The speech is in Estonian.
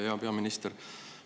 Hea peaminister!